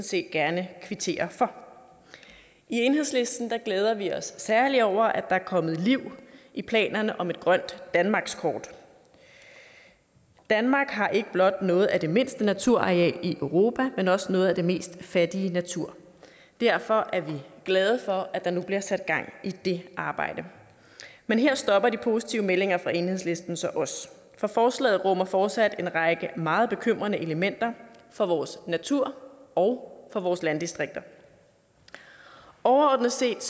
set gerne kvittere for i enhedslisten glæder vi os særlig over at der er kommet liv i planerne om et grønt danmarkskort danmark har ikke blot noget af det mindste naturareal i europa men også noget af den mest fattige natur derfor er vi glade for at der nu bliver sat gang i det arbejde men her stopper de positive meldinger fra enhedslisten så også for forslaget rummer fortsat en række meget bekymrende elementer for vores natur og for vores landdistrikter overordnet set